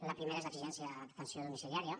la primera és l’exigència d’atenció domiciliària